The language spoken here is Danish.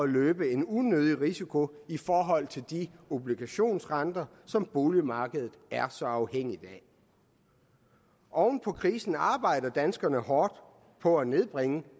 løbe en unødig risiko i forhold til de obligationsrenter som boligmarkedet er så afhængigt af oven på krisen arbejder danskerne hårdt på at nedbringe